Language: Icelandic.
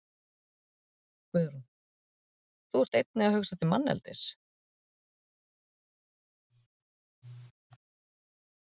Guðrún: Þú ert einnig að hugsa til manneldis?